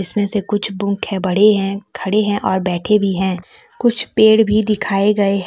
जिसमें से कुछ बड़ी है खड़ी है और बैठे भी हैं कुछ पेड़ भी दिखाई गए--